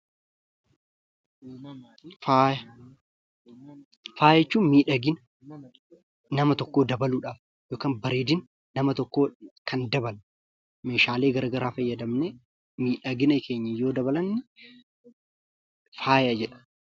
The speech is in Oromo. Faaya: Faaya jechuun miidhagina nama tokkoo dabaluudhaaf yookaan bareedina nama tokkoo kan dabalu, meeshaalee garagaraa fayyadamnee miidhagina keenya yoo dabalanne faaya jedhama.